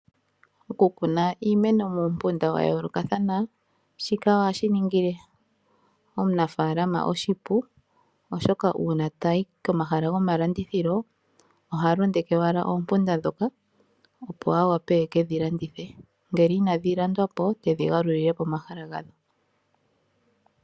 Oku kuna iimeno muumpunda wayolokatha shika ohashi ningile omunafalama oshipu oshoka una tayi komahala gomalandithilo oha londeke owala oompunda dhoka opo awape eke dhilandithe ngele inadhi landwapo tedhi galulile pomahala gadho.